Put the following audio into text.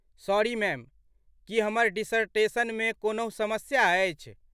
Sorry ma'am, की हमर डिसर्टेशनमे कोनहु समस्या अछि?